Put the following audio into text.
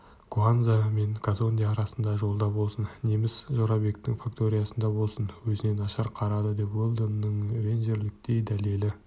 куанза мен казонде арасындағы жолда болсын неміс жорабектің факториясында болсын өзіне нашар қарады деп уэлдонның ренжірліктей дәлелі